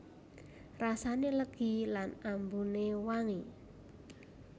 Rasané legi lan ambuné wangi